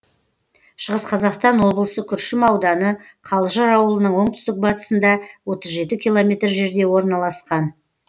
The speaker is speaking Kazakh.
шығыс қазақстан облысы күршім ауданы қалжыр ауылының оңтүстік батысында отыз жеті километр жерде орналасқан